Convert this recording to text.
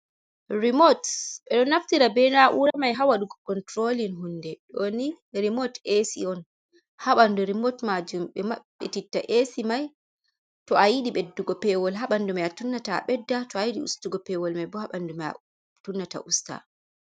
Remot, ɓe ɗo naftira be na ura mai ha waɗugo kontrolin hunde, ɗo ni remot esi on ha ɓandu remot majum, ɓe maɓɓetitta esi mai to a yidi ɓeddugo pewol ha ɓandu mai a tunnata a ɓedda, to a yiɗi ustugo pewol mai bo ha ɓandu mai a tunnata usta.